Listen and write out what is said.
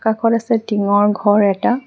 কাষত আছে টিংৰ ঘৰ এটা।